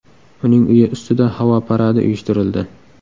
Uning uyi ustida havo paradi uyushtirildi.